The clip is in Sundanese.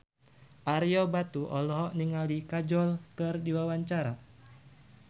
Ario Batu olohok ningali Kajol keur diwawancara